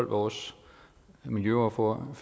vores miljøordfører